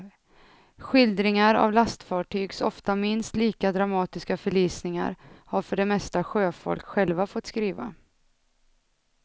Skildringar av lastfartygs ofta minst lika dramatiska förlisningar har för det mesta sjöfolk själva fått skriva.